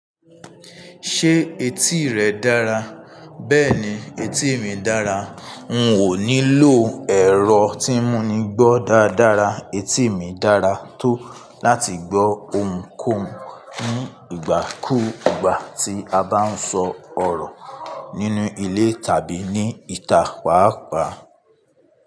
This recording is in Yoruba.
Ṣé etí rẹ dára? Bẹ́ẹ̀ni, etí mi dára. N ò nílò ẹ̀rọ tí mú mi gbọ́ dáadára. Etí mi dára tó láti gbọ́ ohùn kóhun nígbàkúùgbà tí a bá ń sọ ọ̀rọ̀ nínú ilé tàbí ní ìta pàápàá.